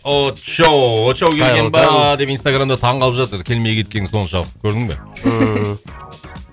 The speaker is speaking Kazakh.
очоу очоу келген ба деп инстаграмда таң қалып жатыр келмей кеткенің соншалықты көрдің ба ммм